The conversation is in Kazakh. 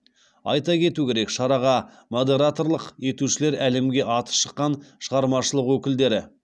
айта кету керек шараға модераторлық етушілер әлемге аты шыққан шығармашылық өкілдері